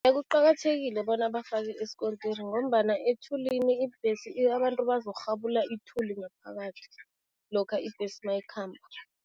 Kuqakathekile bona bafake isikontiri ngombana ethulini ibhesi abantu bazokurhabula ithuli ngaphakathi lokha ibhesi mayikhamba.